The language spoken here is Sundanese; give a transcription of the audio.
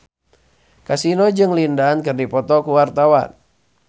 Kasino jeung Lin Dan keur dipoto ku wartawan